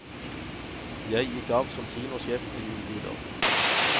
Jeg gikk av som kinosjef ved juletider.